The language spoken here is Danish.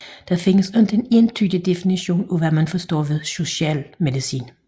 Der findes ikke en entydig definition af hvad man forstår ved socialmedicin